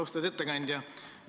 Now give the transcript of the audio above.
Austatud ettekandja!